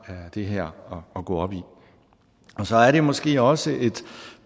det her at gå op i så er det måske også et